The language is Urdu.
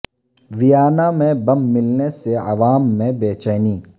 ویانا میں بم ملنے سے عوام میں بے چینی